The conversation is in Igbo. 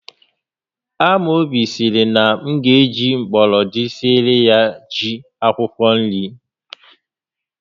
Amobi sịrị na m ga eji gbọrọndị siere ya ji akwụkwọ nri